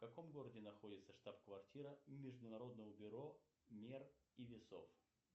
в каком городе находится штаб квартира международного бюро мер и весов